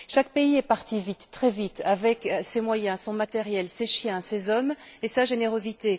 Chaque pays est parti vite, très vite, avec ses moyens, son matériel, ses chiens, ses hommes et sa générosité.